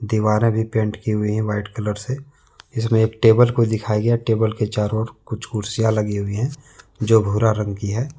दीवारें भी पेंट की हुई हैंव्हाईट कलर से इसमें एक टेबल को दिखाया गया हैंटेबल के चारों ओर कुछ कुर्सियां लगी हुई है जो भूरा रंग की है।